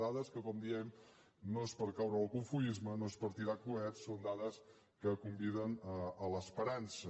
dades que com diem no són per caure en el cofoisme no són per tirar coets són dades que conviden a l’esperança